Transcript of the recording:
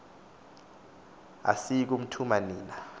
asiyi kuthuma nina